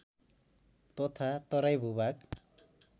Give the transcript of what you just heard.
तथा तराई भूभाग